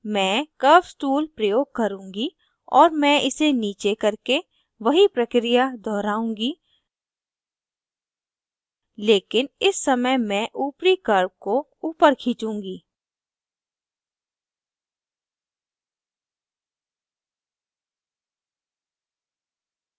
मैं curves tool प्रयोग करुँगी और मैं इसे नीचे करके वही प्रक्रिया दोहराऊँगी लेकिन इस समय मैं upper curves को upper खींचूँगी